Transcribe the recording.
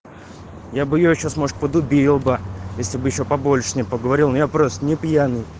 я бы её сейчас может буду был бы если бы ещё побольше ним поговорил я просто не пьяный